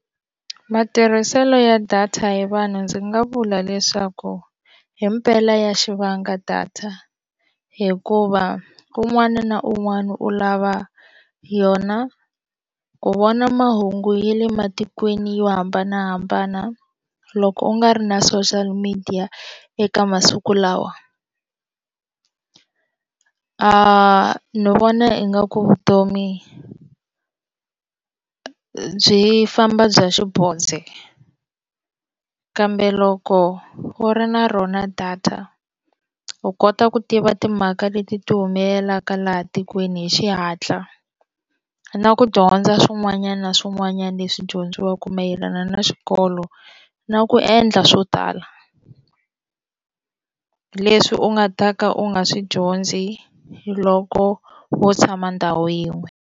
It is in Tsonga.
Matirhiselo ya data hi vanhu ndzi nga vula leswaku hi mpela ya xi vanga data hikuva un'wana na un'wana u lava yona ku vona mahungu ya le matikweni yo hambanahambana loko u nga ri na social media eka masiku lawa ni vona ingaku vutomi byi famba bya xibodze kambe loko wo ri na rona data u kota ku tiva timhaka leti ti humelelaka laha tikweni hi xihatla na ku dyondza swin'wanyana swin'wanyana leswi dyondziwaka mayelana na xikolo na ku endla swo tala leswi u nga ta ka u nga swi dyondzi loko wo tshama ndhawu yin'we.